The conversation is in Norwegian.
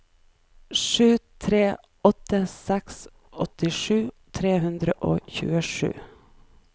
sju tre åtte seks åttisju tre hundre og tjuesju